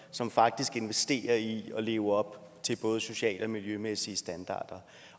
som faktisk investerer i at leve op til både sociale og miljømæssige standarder